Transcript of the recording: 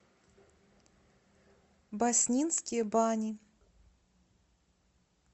баснинские бани